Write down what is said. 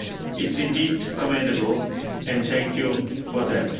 It is indeed commendable and thank you for that.